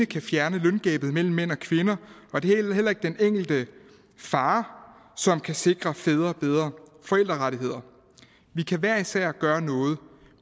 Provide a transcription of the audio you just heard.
kan fjerne løngabet mellem mænd og kvinder og det er heller ikke den enkelte far som kan sikre fædre bedre forældrerettigheder vi kan hver især gøre noget